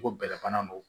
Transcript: Ko bɛlɛfana don